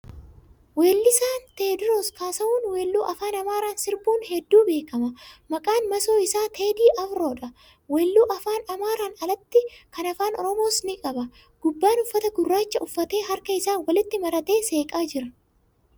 Weellisaan Teewoodroos Kaassaahuun weelluu Afaan Amaaraan sirbuun hedduu beekama. Maqaan masoo isaa Teedii Afroo dha. Weelluu Afaan Amaaraan alatti kan Afaan Oromoos ni qaba. Gubbaan uffata gurraacha uffatee harka isaa walitti maratee seeqaa jira.